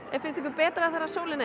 finnst ykkur betra þegar sólin er